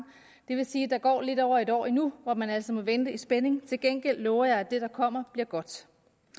det vil sige at der går lidt over et år endnu hvor man altså må vente i spænding til gengæld lover jeg at det der kommer bliver godt